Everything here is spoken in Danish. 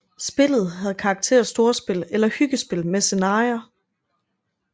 Spillet havde karakter af storspil eller hyggespil med scenarier